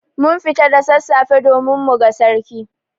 Mun fita da sassafe domin muga Sarki.